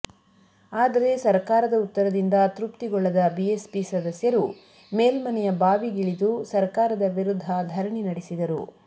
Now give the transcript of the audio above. ಆದರೆ ಸರಕಾರದ ಉತ್ತರದಿಂದ ತೃಪ್ತಿಗೊಳ್ಳದ ಬಿಎಸ್ಪಿ ಸದಸ್ಯರು ಮೇಲ್ಮನೆಯ ಬಾವಿಗಿಳಿದು ಸರಕಾರದ ವಿರುದ್ಧ ಧರಣಿ ನಡೆಸಿದರು